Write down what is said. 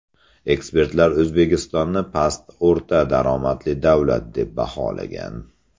Ekspertlar O‘zbekistonni past-o‘rta daromadli davlat deb baholagan.